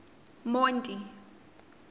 monti